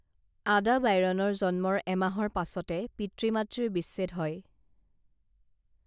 আডা বাইৰনৰ জন্মৰ এমাহৰ পাছতে পিতৃ মাতৃৰ বিচ্ছেদ হয়